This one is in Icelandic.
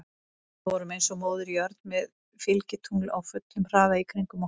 Við vorum eins og Móðir jörð með fylgitungl á fullum hraða í kringum okkur.